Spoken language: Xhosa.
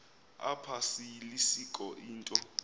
apha seyilisiko into